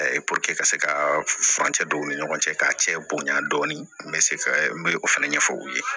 ka se ka furancɛ don u ni ɲɔgɔn cɛ k'a cɛ bonɲa dɔɔnin n bɛ se ka n bɛ o fɛnɛ ɲɛfɔ u ye